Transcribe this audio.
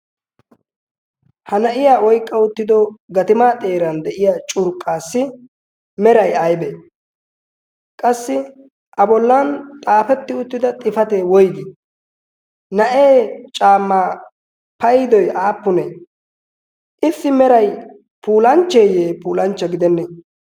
ha na7iya oiqqa uttido gatimaa xeeran de7iya curqqaassi merai aibee? qassi a bollan xaafetti uttida xifatee woigii? na7ee caamma paidoi aappunee? iissi merai pulanchcheeyye puulanchcha gidennee?